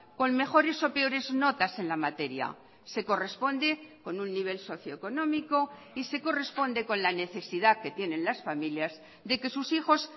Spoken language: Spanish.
con mejores o peores notas en la materia se corresponde con un nivel socioeconómico y se corresponde con la necesidad que tienen las familias de que sus hijos